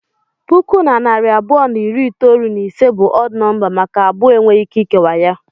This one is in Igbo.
Puku na narị abụọ na iri itolu na ise bụ ọd nọmba maka abụọ enweghị ike ikewa ya.